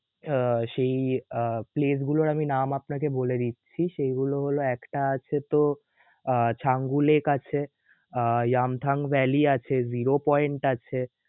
আহ সেই আহ place গুলোর নাম আমি আপনাকে বলে দিচ্ছি. সেইগুলো হলো একটা আছে তো আহ ঝাঙ্গুলেক আছে, আহ Yeamtham Valley আছে, Zero Point আছে